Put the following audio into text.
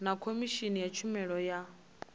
na khomishini ya tshumelo ya